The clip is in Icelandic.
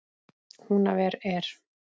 Húnaver er!